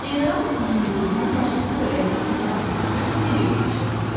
General Uzunquyruğun başçılıq elədiyi Siçan sürüsü necə geri çəkildi?